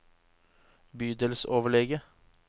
bydelsoverlege